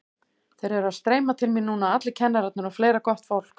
Þeir eru að streyma til mín núna allir kennararnir og fleira gott fólk.